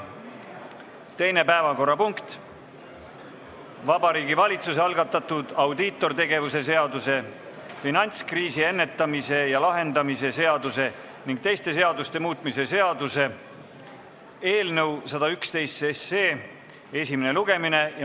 Teine päevakorrapunkt on Vabariigi Valitsuse algatatud audiitortegevuse seaduse, finantskriisi ennetamise ja lahendamise seaduse ning teiste seaduste muutmise seaduse eelnõu 111 esimene lugemine.